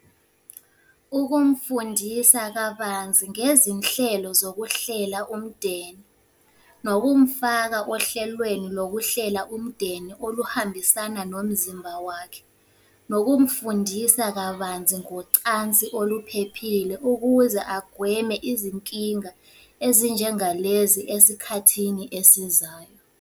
Ukumfundisa kabanzi ngezinhlelo zokuhlela umndeni. Nokumufaka ohlelweni lokuhlela umndeni oluhambisana nomzimba wakhe. Nokumufundisa kabanzi ngocansi oluphephile ukuze agweme izinkinga ezinjenga lezi esikhathini esizayo.